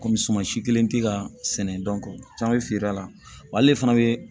Kɔmi suman si kelen tɛ ka sɛnɛ caman bɛ feere a la wali fana bɛ